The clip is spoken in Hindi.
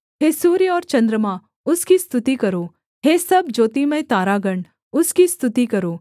हे सूर्य और चन्द्रमा उसकी स्तुति करो हे सब ज्योतिमय तारागण उसकी स्तुति करो